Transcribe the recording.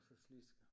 Og så slisker